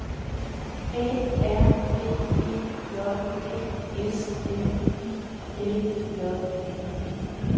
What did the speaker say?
A R B E J D S M I L J Ø